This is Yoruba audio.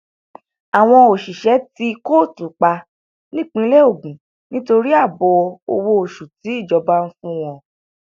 àwọn òṣìṣẹ tí kóòtù pa nípínlẹ ogun nítorí ààbọ owó oṣù tíjọba ń fún wọn